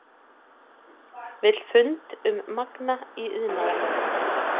Vill fund um Magma í iðnaðarnefnd